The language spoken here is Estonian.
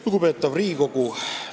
Lugupeetav Riigikogu!